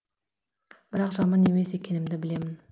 бірақ жаман емес екенімді білемін